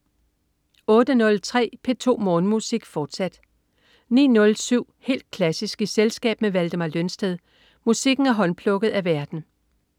08.03 P2 Morgenmusik, fortsat 09.07 Helt klassisk i selskab med Valdemar Lønsted. Musikken er håndplukket af værten